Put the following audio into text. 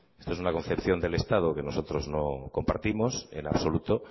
esto es una concepción del estado que nosotros no compartimos en absoluto